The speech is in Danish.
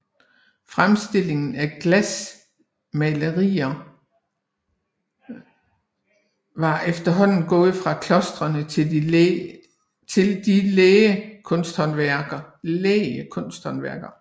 Fremstillingen af glasmaleriger var efterhånden gået fra klostrene til de læge kunsthåndværkere